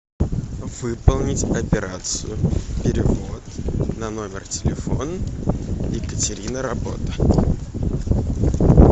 выполнить операцию перевод на номер телефона екатерина работа